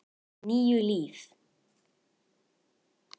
Níu líf.